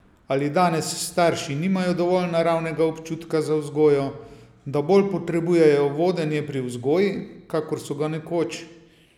Ali danes starši nimajo dovolj naravnega občutka za vzgojo, da bolj potrebujejo vodenje pri vzgoji, kakor so ga nekoč?